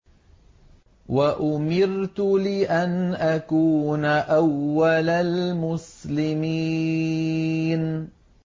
وَأُمِرْتُ لِأَنْ أَكُونَ أَوَّلَ الْمُسْلِمِينَ